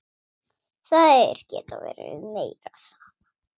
Þær geta verið meira saman.